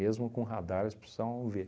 com radar, eles precisavam ver.